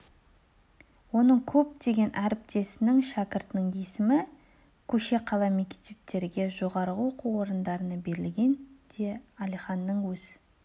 оның көптеген әріптесінің шәкіртінің есімі көше қала мектептерге жоғары оқу орындарына берілген де әлиханның өз